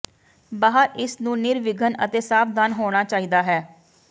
ਬਾਹਰ ਇਸ ਨੂੰ ਨਿਰਵਿਘਨ ਅਤੇ ਸਾਵਧਾਨ ਹੋਣਾ ਚਾਹੀਦਾ ਹੈ